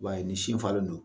I b'a ye ni sin falen do.